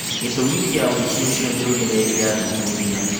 Gĩtũmi kĩa wũici ũcio nĩũgegetie athuthuria